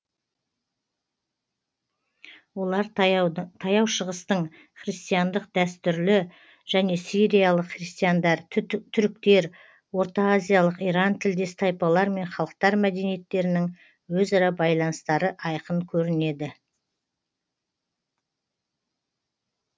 олардан таяу шығыстың христиандық дәстүрі және сириялық христиандар түріктер ортаазиялық иран тілдес тайпалар мен халықтар мәдениеттерінің өзара байланыстары айқын көрінеді